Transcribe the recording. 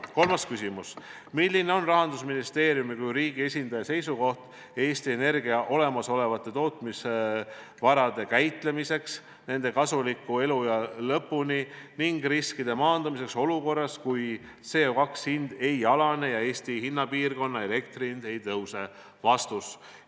Kolmas küsimus: "Milline on rahandusministeeriumi kui riigi esindaja seisukoht Eesti Energia olemasolevate tootmisvarade käitamiseks nende kasuliku eluea lõpuni ning riskide maandamiseks olukorras, kui CO2 hind ei alane ja Eesti hinnapiirkonna elektrihind ei tõuse?